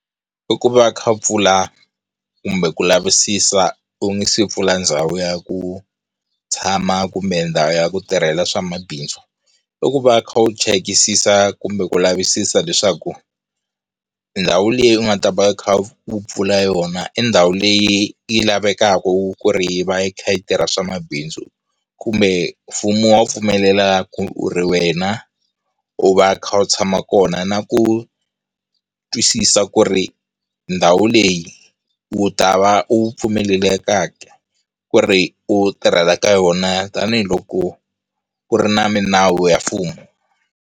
I ku va kha pfula kumbe ku lavisisa u nga si pfula ndhawu ya ku tshama kumbe ndhawu ya ku tirhela swa mabindzu, i ku va u kha u chekisisa kumbe ku lavisisa leswaku ndhawu leyi u nga ta va u khau pfula yona i ndhawu leyi yi lavekaka ku ri yi va yi kha yi tirha swa mabindzu kumbe mfumo wu pfumelela ku ri wena u va u kha u tshama kona na ku twisisa ku ri ndhawu leyi u ta va u pfumelelekaka ku ri u tirhela ka yona tanihiloko ku ri na minawu ya mfumo.